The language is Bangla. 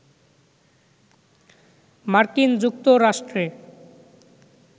মার্কিন যুক্তরাষ্ট্রে